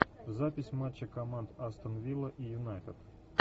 запись матча команд астон вилла и юнайтед